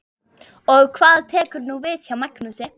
Og hvað tekur nú við hjá Magnúsi?